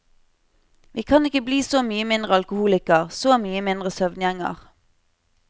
Vi kan ikke bli så mye mindre alkoholiker, så mye mindre søvngjenger.